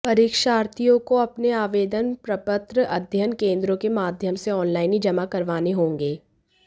परीक्षार्थीयों को अपने आवेदन प्रपत्र अध्ययन केंद्रों के माध्ययम से ऑनलाइन ही जमा करवाने होंगे